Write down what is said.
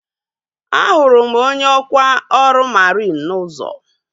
A hụrụ m onye ọkwa ọrụ mariin n'ụzọ